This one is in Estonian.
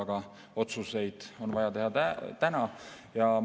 Aga otsuseid on vaja teha täna.